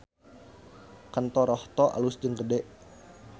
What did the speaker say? Kantor Rohto alus jeung gede